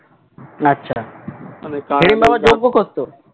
আচ্ছা হিড়িম্বা আবার যোগ্য করতো.